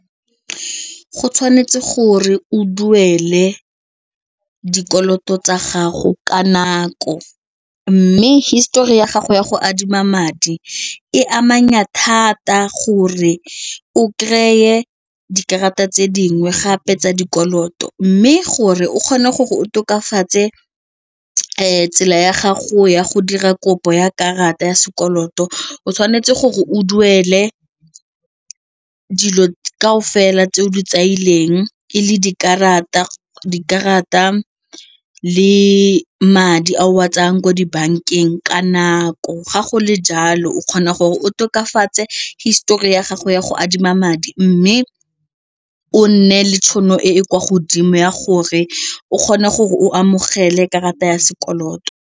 Go tshwanetse gore o duele dikoloto tsa gago ka nako mme histori ya gago ya go adima madi e amanya thata gore okry-e dikarata tse dingwe gape tsa dikoloto mme gore o kgone gore o tokafatse tsela ya gago ya go dira kopo ya karata ya sekoloto, o tshwanetse gore o duele dilo ka o fela tse o di tsamaileng e le dikarata le madi a o a tsayang ko dibankeng ka nako ga go le jalo fa o kgona gore o tokafatse histori ya gago ya go adima madi mme o nne le tšhono e e kwa godimo ya gore o kgone gore o amogele karata ya sekoloto.